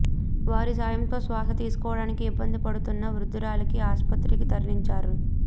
వారి సాయంతో శ్వాస తీసుకోవడానికి ఇబ్బంది పడుతున్న వృద్దురాలికి ఆస్పత్రికి తరలించారు